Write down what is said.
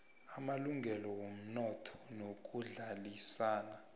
amalungelo womnotho nokuhlalisana